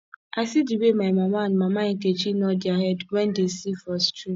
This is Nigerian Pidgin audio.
i see the way my mama and mama nkechi nod their head wen dey see for stream